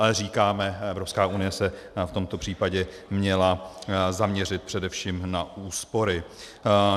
Ale říkáme, Evropská unie se v tomto případě měla zaměřit především na úspory.